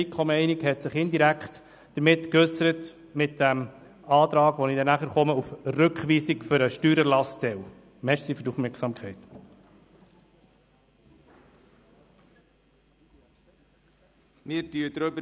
Wie gesagt, hat sich die FiKo-Meinung indirekt im Antrag auf Rückweisung des Teils zum Steuererlass geäussert, auf den ich später werde zu sprechen kommen.